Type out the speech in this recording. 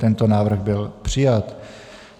Tento návrh byl přijat.